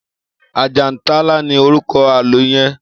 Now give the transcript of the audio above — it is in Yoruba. Ajàntálá ni órúkò àlõ yèn